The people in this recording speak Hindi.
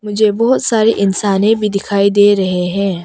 जे बहुत सारे इंसाने भी दिखाई दे रहे हैं।